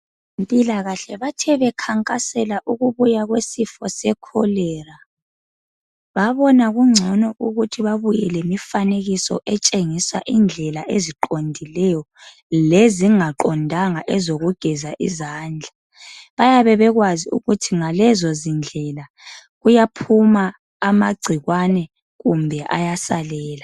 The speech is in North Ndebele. Abezempilakahle bathe bekhankasela ukubuya kwesifo sekholera babona kungcono ukuthi babuye lemifanekiso etshengisa indlela eziqondileyo lezingaqondanga ezokugeza izandla. Bayabe bekwazi ukuthi ngalezo zindlela kuyaphuma amagcikwane kumbe ayasalela.